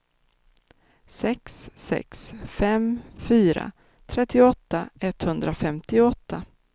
sex sex fem fyra trettioåtta etthundrafemtioåtta